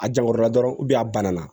A jankɔrɔla dɔrɔn a banna